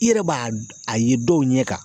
I yɛrɛ b'a a ye dɔw ɲɛ kan